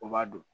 O b'a don